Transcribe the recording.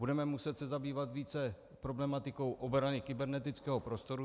Budeme muset se zabývat více problematikou obrany kybernetického prostoru.